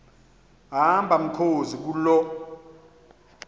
hamba mkhozi kuloo